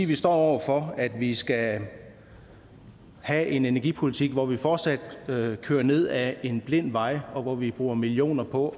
vi står over for at vi skal have en energipolitik hvor vi fortsat kører ned ad en blind vej og hvor vi bruger millioner på